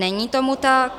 Není tomu tak.